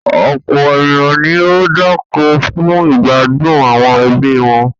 Ọ̀pọ̀ ènìyàn ni ó ń dáko fún ìgbádùn àwọn ẹbí wọn.